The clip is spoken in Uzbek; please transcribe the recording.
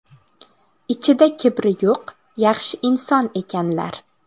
Ichida kibri yo‘q yaxshi inson ekanlar.